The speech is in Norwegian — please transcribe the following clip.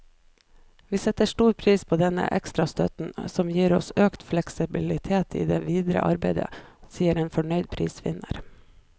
Vi setter stor pris på denne ekstra støtten, som gir oss økt fleksibilitet i det videre arbeidet, sier en fornøyd prisvinner.